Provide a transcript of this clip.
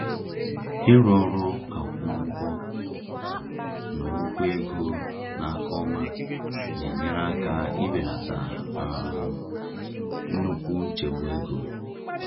Ịrụ ọrụ akwụmụgwọ na ụgwọ ego n’aka ọma na-enyere aka ibelata um nnukwu nchegbu ego.